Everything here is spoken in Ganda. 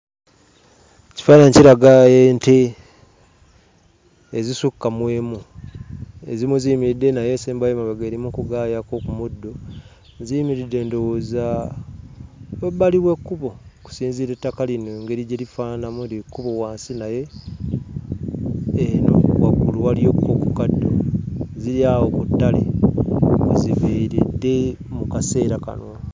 Ekifaananyi kiraga ente ezisukka mu emu. Ezimu ziyimiridde naye esembayo emabega eri mu kagaayaako ku muddo, ziyimiridde ndowooza emabbali w'ekkubo okusinziira ettaka lino engeri gye lifaananamu. Eryo ekkubo wansi naye eno waggulu waliyokko ku kaddo, ziri awo ku ttale we ziviiridde mu kaseera kano.